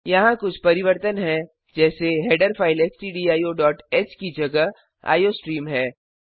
यहाँ कुछ परिवर्तन हैं जैसे हेडर फ़ाइल stdioह की जगह आईओस्ट्रीम है